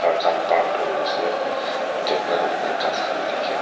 khan park kurinaase ghas khan dikhiase.